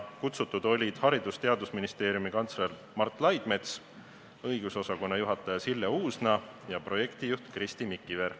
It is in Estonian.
Kutsutud olid Haridus- ja Teadusministeeriumi kantsler Mart Laidmets, õigusosakonna juhataja Sille Uusna ja projektijuht Kristi Mikiver.